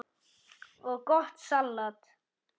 og gott salat.